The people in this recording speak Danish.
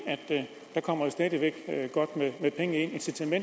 at